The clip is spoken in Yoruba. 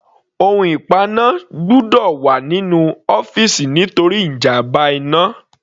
Ohun ìpaná gbọ́dọ̀ wà nínú ọ́fìsì nítorí ìjàmbá iná.